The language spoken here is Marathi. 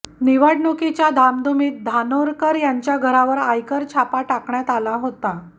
निवडणुकीच्या धामधुमीत धानोरकर यांच्या घरावर आयकर छापा टाकण्यात आला होता